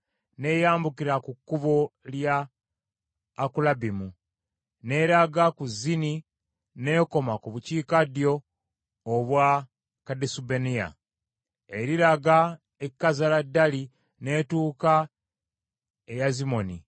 n’eyambukira ku Kkubo lya Akulabbimu, n’eraga ku Zini n’ekoma ku bukiikaddyo obwa Kadesubanea. Eriraga e Kazala Dali n’etuuka e Yazimoni,